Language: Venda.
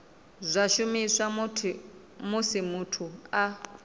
zwa shumiswa musi muthu a